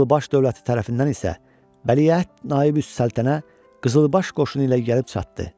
Qızılbaş dövləti tərəfindən isə Vəliəhd Naibüs Səltənə qızılbaş qoşunu ilə gəlib çatdı.